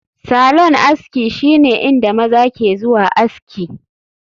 Salon aski shine inda maza ke zuwa aski